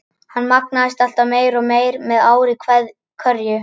Hann magnaðist alltaf meir og meir með ári hverju.